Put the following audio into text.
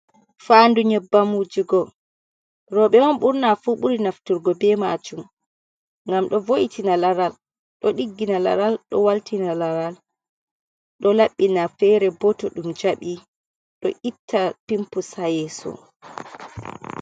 Faandu nyebbam wujugo, robe on ɓurnafu ɓuri naftirgo be majum ngam do voitina laral, ɗo ɗiggina laral, ɗo waltina laral, ɗo laɓɓina ferebo to ndum jaɓi ɗo itta pinpus ha yeso.